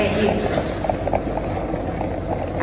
É isto.